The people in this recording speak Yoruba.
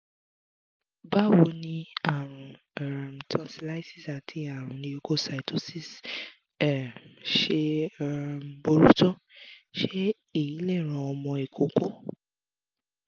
báwo ni àrùn um tonsillitis àti àrùn leukocytosis um ṣe um burú tó? se eyi le ran ọmọ ikoko?